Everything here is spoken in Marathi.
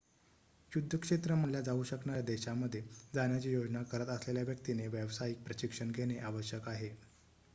युद्धक्षेत्र मानल्या जाऊ शकणाऱ्या देशामध्ये जाण्याची योजना करत असलेल्या व्यक्तीने व्यावसायिक प्रशिक्षण घेणे आवश्यक आहे